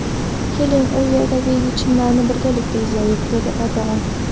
Keling, u yerdagi yechimlarni birgalikda izlaylik”, dedi Erdo‘g‘on.